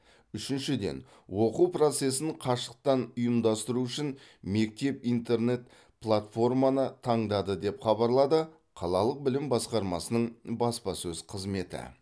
үшіншіден оқу процесін қашықтан ұйымдастыру үшін мектеп интернет платформаны таңдады деп хабарлады қалалық білім басқармасының баспасөз қызметі